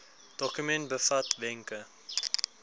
dokument bevat wenke